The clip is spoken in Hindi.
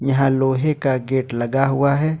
यहां लोहे का गेट लगा हुआ है।